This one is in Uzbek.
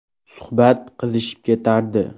Suhbat qizishib ketardi.